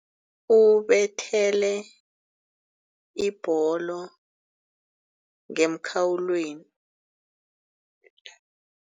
Ubethele ibholo ngemkhawulweni.